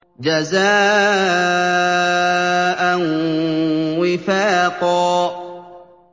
جَزَاءً وِفَاقًا